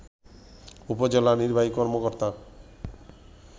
উপজেলা নির্বাহী কর্মকর্তা